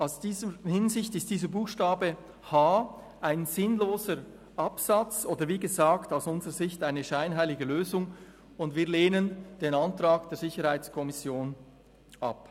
In dieser Hinsicht ist dieser Buchstabe h ein sinnloser Absatz oder, wie gesagt, aus unserer Sicht eine scheinheilige Lösung, und wir lehnen den Antrag der SiK ab.